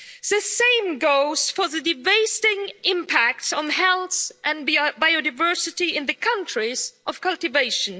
The same goes for the devastating impact on health and biodiversity in the countries of cultivation.